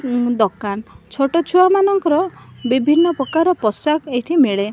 ଦୋକାନ ଛୋଟ ଛୁଆ ମାନଙ୍କର ବିଭିନ୍ନ ପ୍ରକାର ପୋଷାକ ଏଠି ମିଳେ।